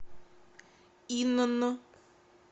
инн